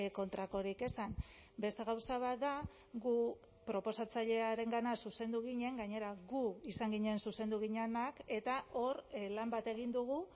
kontrakorik esan beste gauza bat da gu proposatzailearengana zuzendu ginen gainera gu izan ginen zuzendu ginenak eta hor lan bat egin dugu